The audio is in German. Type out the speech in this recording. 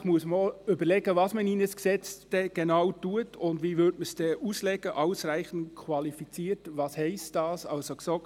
Zusätzlich muss man überlegen, was man genau in ein Gesetz hineinnimmt und wie man «ausreichend qualifiziert» auslegen soll und was das heisst.